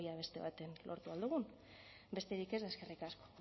beste batean lortu ahal dugun besterik ez eta eskerrik asko